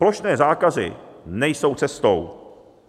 Plošné zákazy nejsou cestou.